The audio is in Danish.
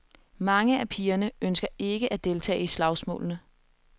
Mange af pigerne ønsker ikke at deltage i slagsmålene.